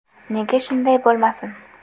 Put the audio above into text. Nega shunday bo‘lmasin?